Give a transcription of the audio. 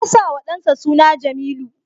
Ya sa wa dansa suna Jamilu.